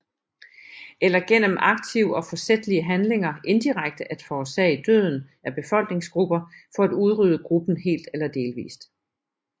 Eller gennem aktive og forsætlige handlinger indirekte at forårsage døden af befolkningsgrupper for at udrydde gruppen helt eller delvist